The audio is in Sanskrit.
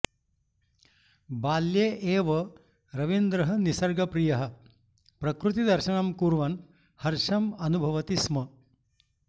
बाल्ये एव रवीन्द्रः निसर्गप्रियः प्रकृतिदर्शनं कुर्वन् हर्षम् अनुभवति स्म